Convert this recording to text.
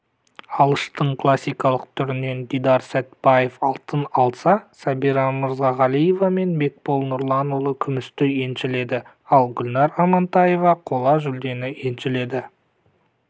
алыштың классикалық түрінен дидар сәтбаев алтын алса сәбирамырзагалиева мен бекбол нұрланұлы күмісті еншіледі ал гүлнар амантаева қола жүлдені еншіледі